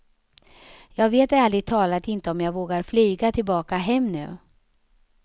Jag vet ärligt talat inte om jag vågar flyga tillbaka hem nu.